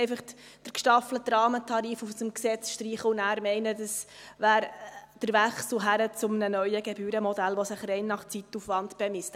Man kann nicht einfach den gestaffelten Rahmentarif aus dem Gesetz streichen und dann meinen, das sei der Wechsel hin zu einem neuen Gebührenmodell, das sich rein nach Zeitaufwand bemisst.